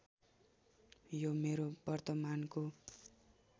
यो मेरो वर्तमानको